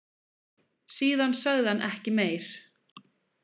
Síðan sagði hann ekki meir.